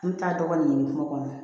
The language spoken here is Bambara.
An bɛ taa dɔgɔnin ɲini kungo kɔnɔ